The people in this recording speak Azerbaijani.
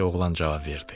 deyə oğlan cavab verdi.